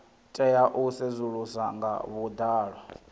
tea u sedzuluswa nga vhuḓalo